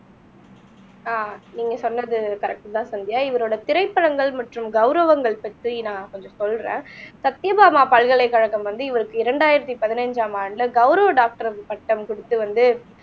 ஆஹ் நீங்க சொன்னது கரெக்ட்தான் சந்தியா இவரோட திரைப்படங்கள் மற்றும் கௌரவங்கள் பத்தி நான் கொஞ்சம் சொல்றேன் சத்யபாமா பல்கலைக்கழகம் வந்து இவருக்கு இரண்டாயிரத்தி பதினஞ்சாம் ஆண்டுல கௌரவ டாக்டர் பட்டம் கொடுத்து வந்து